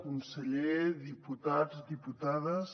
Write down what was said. conseller diputats diputades